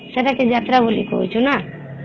ସେଟା କି ଯାତ୍ରା ବୋଲି କହୁଛୁ ନା